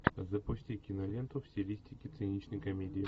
запусти киноленту в стилистике циничной комедии